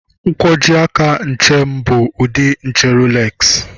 Nkwojiaka nche m bụ ụdị nche Roolexi